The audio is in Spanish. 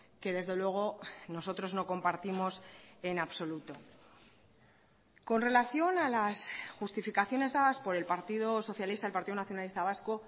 que desde luego nosotros no compartimos en absoluto con relación a las justificaciones dadas por el partido socialista y partido nacionalista vasco